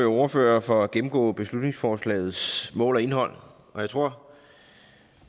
ordførere for at gennemgå beslutningsforslagets mål og indhold jeg tror